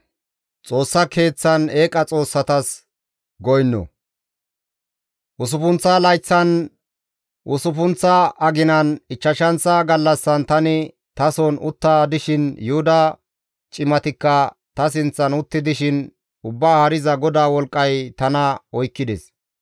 Usuppunththa layththan, usuppunththa aginan, ichchashanththa gallassan tani tason utta dishin, Yuhuda cimatikka ta sinththan utti dishin, Ubbaa Haariza GODAA wolqqay tana oykkides.